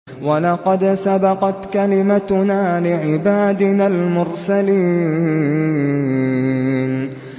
وَلَقَدْ سَبَقَتْ كَلِمَتُنَا لِعِبَادِنَا الْمُرْسَلِينَ